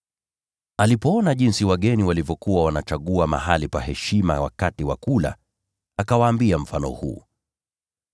Alipoona jinsi wageni walivyokuwa wanachagua mahali pa heshima wakati wa kula, akawaambia mfano huu: